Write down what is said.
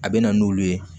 A bɛ na n'olu ye